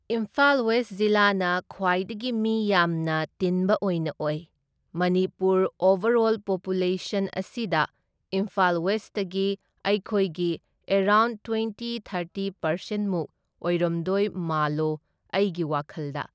Imphal west ꯖꯤꯂꯥꯁꯤꯅ ꯈ꯭ꯋꯥꯏꯗꯒꯤ ꯃꯤ ꯌꯥꯝꯅ ꯇꯤꯟꯕ ꯑꯣꯏꯅ ꯑꯣꯏ, ꯃꯅꯤꯄꯨꯔ ꯑꯣꯕꯔꯔꯣꯜ ꯄꯣꯄ꯭ꯌꯨꯂꯦꯁꯟ ꯑꯁꯤꯗ ꯏꯝꯐꯥꯜ ꯋꯦꯁꯇꯒꯤ ꯑꯩꯈꯣꯏꯒꯤ ꯑꯦꯔꯥꯎꯟ ꯇ꯭ꯋꯦꯟꯇꯤ ꯊꯥꯔꯇꯤ ꯄꯔꯁꯦꯟꯃꯨꯛ ꯑꯣꯏꯔꯝꯗꯣꯏ ꯃꯥꯜꯂꯤ ꯑꯩꯒꯤ ꯋꯥꯈꯜꯗ꯫